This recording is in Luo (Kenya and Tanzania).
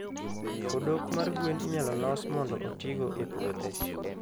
odok mar gwen inyalo los mondo otigo e puothe.